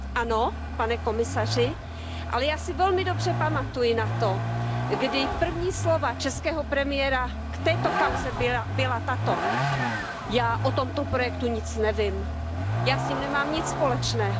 Ano, pane komisaři, ale já si velmi dobře pamatuji na to, kdy první slova českého premiéra k této kauze byla tato Já o tomto projektu nic nevím, já s tím nemám nic společného.